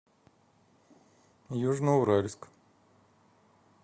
южноуральск